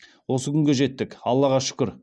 осы күнге жеттік аллаға шүкір